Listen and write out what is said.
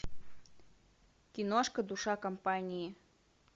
киношка душа компании